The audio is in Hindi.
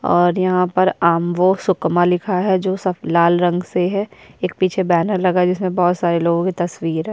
और यहाँ पर आम्बो सुकमा लिखा है जो स लाल रंग से है एक पीछे बैनर लगा है जिसमें बहुत सारे लोगो के तस्वीर है।